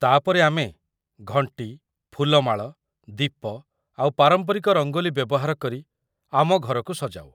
ତା'ପରେ ଆମେ ଘଣ୍ଟି, ଫୁଲମାଳ, ଦୀପ ଆଉ ପାରମ୍ପରିକ ରଙ୍ଗୋଲି ବ୍ୟବହାର କରି ଆମ ଘରକୁ ସଜାଉ ।